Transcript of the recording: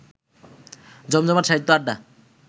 জমজমাট সাহিত্য আড্ডা